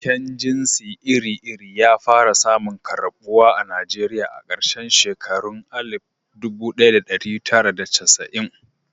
Binciken jinsi iri-iri ya fara samun karɓuwa a Najeriya a karshen shekarun 1990.